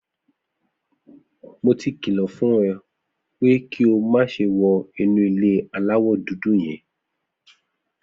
Mo ti kìlọ̀ fún ọ pé kí o má ṣe wọ inú ilé aláwọ̀ dúdú yẹn.